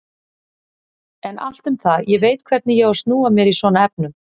En allt um það, ég veit hvernig ég á að snúa mér í svona efnum.